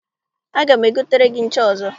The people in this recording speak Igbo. Aga m egotere gị ncha ọzọ.